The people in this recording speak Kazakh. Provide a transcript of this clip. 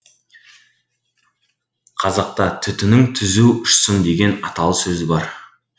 қазақта түтінің түзу ұшсын деген аталы сөз бар